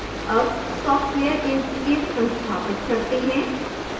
अब software inkscape संस्थापित करते हैं